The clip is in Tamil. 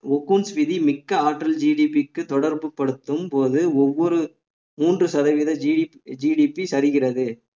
ஒகூன்ஸ் விதி மிக்க ஆற்றல் GDP க்கு தொடர்புபடுத்தும் போது ஒவ்வொரு மூன்று சதவிகித GDGDP சரிகிறது